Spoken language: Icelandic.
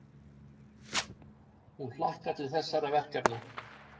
Hún hlakkar til þessara verkefna.